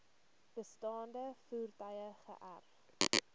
bestaande voertuie geërf